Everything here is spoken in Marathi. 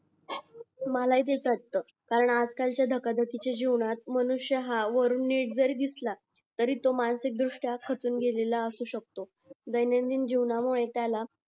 कारण अजकालच्या धकाधकीच्या जीवनात मनुष्य हा वरून नीट जरी दिसला तरी तो मानसिक द्रुष्ट्या खचून गेलेला असू शकतो दैनंदिनजीवनामुळे